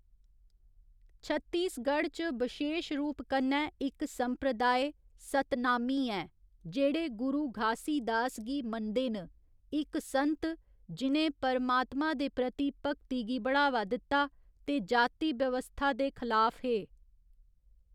छत्तीसगढ़ च बशेश रूप कन्नै इक संप्रदाय सतनामी ऐ, जेह्ड़े गुरु घासीदास गी मनदे न, इक संत जि'नें परमातमा दे प्रति भगती गी बढ़ावा दित्ता ते जाति बवस्था दे खलाफ हे।